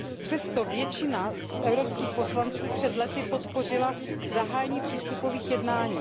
Přesto většina z evropských poslanců před lety podpořila zahájení přístupových jednání.